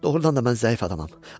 Doğrudan da mən zəif adamam.